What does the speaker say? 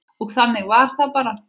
Og þannig var það bara.